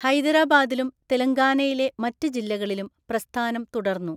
ഹൈദരാബാദിലും തെലങ്കാനയിലെ മറ്റ് ജില്ലകളിലും പ്രസ്ഥാനം തുടർന്നു.